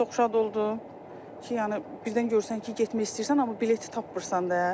Çox şad oldum ki, yəni birdən görürsən ki, getmək istəyirsən, amma bileti tapmırsan da.